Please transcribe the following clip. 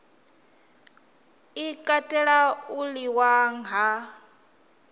i katela u liṅwa ha